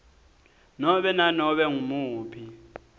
nobe nanobe ngumuphi